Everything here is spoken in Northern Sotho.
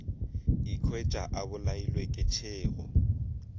ikhwetša a bolailwe ke tšhego